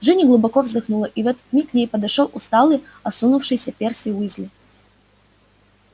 джинни глубоко вздохнула и в этот миг к ним подошёл усталый осунувшийся перси уизли